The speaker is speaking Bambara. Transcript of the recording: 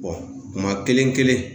kuma kelen kelen